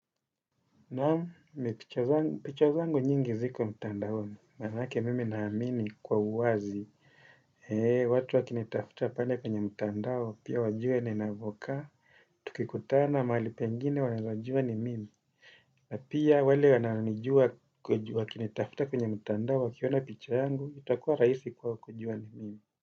Naam, picha zangu nyingi ziko mtandaoni. Manake mimi naamini kwa uwazi. Watu wakinitafuta pale kwenye mtandaoni, pia wajue ninavyokaa. Tukikutana, mahali pengine wanajua ni mimi. Na pia wale wananijua wakinitafuta kwenye mtandaoni, wakiona picha yangu, itakuwa rahisi kwao kujua ni mimi.